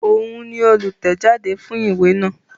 Òun ni olùtẹ̀jáde fún ìwé náà